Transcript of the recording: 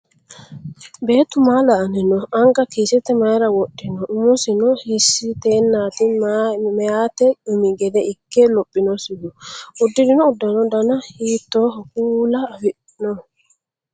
Beettu maa la"anni noo? Anga kiisete mayiira wodhino? Umisino hiissiteenati meyaate umi gede ikke lophinosihu? Uddirino uddanono dana hiittoo kuula afidhino?